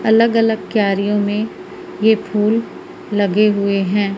अलग अलग क्यारियों में ये फूल लगे हुए हैं।